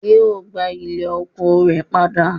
Yóò gbà ilẹ̀ oko rẹ̀ padà